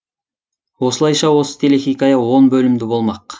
осылайша осы телехикая он бөлімді болмақ